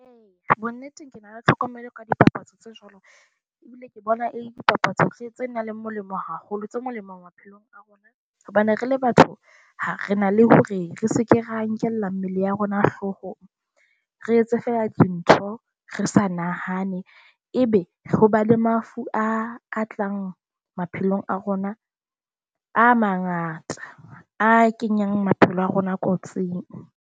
Eya bonnnete ngkono, re tlhokomele ka dipapatso tse jwalo ebile ke bona e le dipapatso tse nang le molemo haholo. Tse molemo maphelong a rona hobane re le batho re na le hore re se ke ra nkella mmele ya rona hloohong, re etse fela dintho, re sa nahane. Ebe ho ba le mafu a tlang maphelong a rona a mangata a kenyang maphelo a rona kotsing.